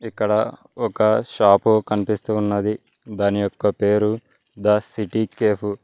ఇక్కడ ఒక షాప్ కనిపిస్తూ ఉన్నది దాని పేరు ద సిటీ కేఫ్ .